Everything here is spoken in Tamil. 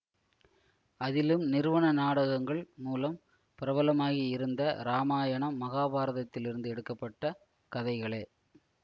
அதிலும் நிறுவன நாடகங்கள் மூலம் பிரபலமாகி இருந்த இராமாயணம் மகாபாரதத்திலிருந்து எடுக்க பட்ட கதைகளே